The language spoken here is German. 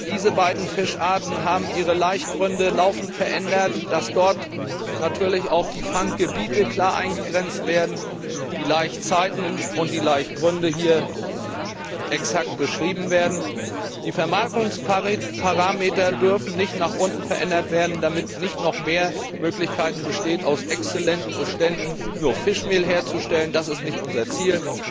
Diese beiden Fischarten haben ihre Laichgründe laufend verändert, so dass dort natürlich auch die Fanggebiete klar eingegrenzt werden, die Laichzeiten und Laichgründe hier exakt beschrieben werden. Die Vermarkungsparameter dürfen nicht nach unten verändert werden, damit nicht noch mehr Möglichkeiten bestehen, aus exzellenten Beständen nur Fischmehl herzustellen. Das ist nicht unser Ziel.